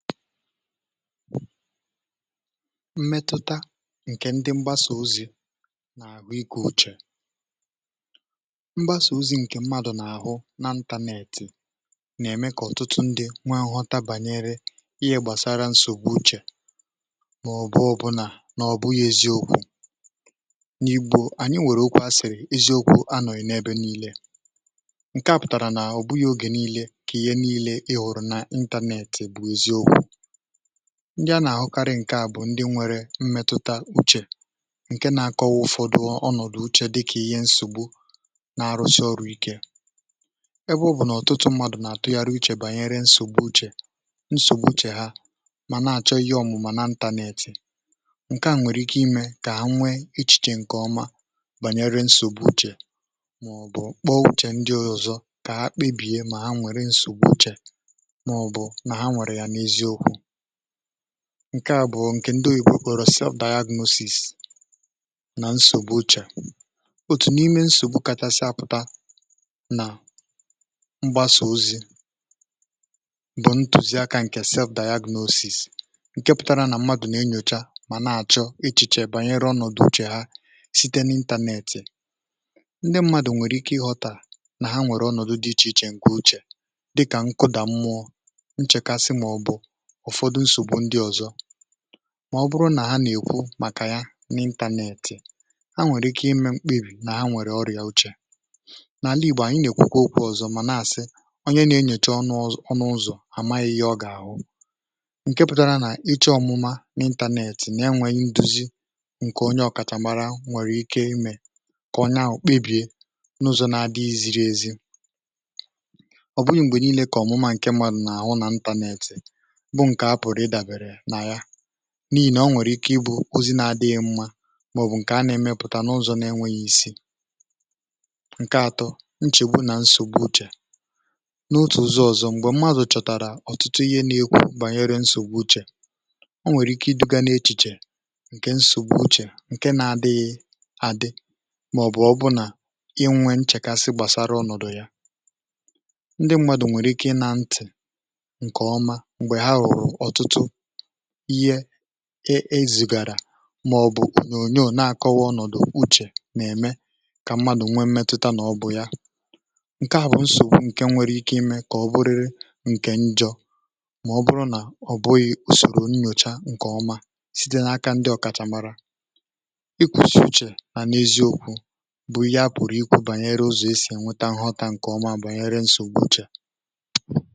mmètụta ǹkè ndi mgbasà ozi̇ nà àhụ igwė uchè mgbasà ozi̇ ǹkè mmadụ̀ nà-àhụ n’ internet nà-ème kà ọ̀tụtụ ndi nwa nghọta bànyere ihe gbàsara nsògbu uchè màọ̀bụ̀ ọbụlà nà ọ̀ bụghị̇ eziokwu̇ n’ibù ànyị nwèrè okwu asị̀rị̀ eziokwu̇ anọ̀yì n’ebe niile ǹkè a pụ̀tàrà nà ọ̀ bụghị̇ ogè niile kà ihe niile ị hụ̀rụ̀ n’ internet um ndị a nà-àhụkarị ǹke à bụ̀ ndị nwere mmetụta uche ǹke nȧ-ȧkọ̇ ụfọdụ ọnọ̀dụ̀ uche dịkà ihe nsògbu na-arụsi ọrụ ike ebe ọ bụ̀ nà ọ̀tụtụ mmadụ̀ nà-àtụgharị uchè bànyere nsògbu uchè nsògbu uchè ha mà na-àchọ ihe ọmụ̇ mà na internet ǹke à nwèrè ike imė kà ha nwee ichèchè ǹkèọma banyere nsògbu uchè màọ̀bụ̀ kpọọ uchè ndị ozọ̇ kà ha kpebìe mà ha nwèrè nsògbu uchè ǹke à bụ̀ ǹkè ndị oyìgbo kọ̀rọ̀ cell diagnosis nà nsògbu uchè òtù n’ime nsògbu kàchàsịa pụ̀ta nà mgbasà ozi̇ bụ̀ ntụ̀zịaka ǹkè cell diagnosis ǹke pụtara nà mmadụ̀ nà enyòcha mà na-àchọ ichìchè banyere ọnọ̀dụ̀ uche ha site n’ internet um ndị mmadụ̀ nwèrè ike ị ghọ̀tàrà nà ha nwèrè ọnọ̀dụ̀ dị ichè ichè ǹkè uchè dịkà nkụdà mmụọ ụ̀fọdụ nsògbu ndi ọ̀zọ mà ọ bụrụ nà ha nà-èkwu màkà ya n’ internet ha nwèrè ike ime mkpebì nà ha nwèrè ọrịà uchè n’àla ìgbò ànyị nà-èkwukwa okwu ọ̀zọ mà nà-àsị onye na-enyocha ọnụ ọzụ̀ anà ihe ọ gà-àhụ ǹke pụtara nà iche ọmụma n’ internet nà ya nwèrè nduzi ǹkè onye ọ̀kàchàmara nwèrè ike ime kà onye ahụ̀ kpebìe n’ụzọ̀ na-adị iziri ezi ọ̀ bụnyụ̀ m̀gbè niile kà ọ̀mụma ǹke mmadụ̀ nà-àhụ nà internet n’ị̀ nà o nwèrè ike ị bụ̇ ozi na-adịghị mmȧ mà ọ̀ bụ̀ ǹkè a nà-èmepụ̀ta n’ụzọ̇ na-enwėghi̇ isi ǹke atọ nchègbu nà nsògbu uchè n’otù uzọ̇ ọ̀zọ m̀gbè mmadụ̀ chọ̀tàrà ọ̀tụtụ ihe n’ikwu̇ bànyere nsògbu uchè o nwèrè ike iduga na-echìchè ǹke nsògbu uchè ǹke na-adịghị adị um mà ọ̀ bụ̀ ọbụna inwė nchèkasi gbàsara ọnọ̀dụ̀ ya ndị mmadụ̀ nwèrè ike ị na ntị̀ ihe e ezùgàrà màọ̀bụ̀ onyò nà-àkọwa ọnọ̀dụ̀ uchè nà-ème kà mmadụ̀ nwee mmetụta nà ọbụ ya ǹke à bụ̀ nsògbu ǹke nwere ike ime kà ọ bụrịrị ǹke njọ̇ màọ̀bụrụ nà ọ̀ bụghị̇ ùsòrò nnyòcha ǹkèọma site n’aka ndị ọ̀kàchà mara ịkwụ̇sị uchè nà n’ezi okwu̇ bụ̀ ya pụ̀rụ̀ ikwù bànyere ụzọ̀ e si è nweta nghọta ǹkèọma bụ̀ bànyere nsògbu uchè.